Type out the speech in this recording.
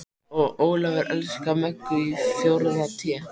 Og Ólafur elskar Möggu í fjórða Té.